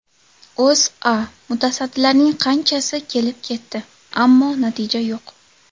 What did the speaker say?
O‘zA: Mutasaddilarning qanchasi kelib ketdi, ammo natija yo‘q.